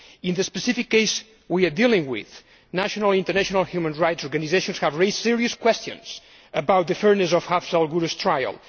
In the specific case we are dealing with, national and international human rights organisations have raised serious questions about the fairness of Afzal Guru's trial.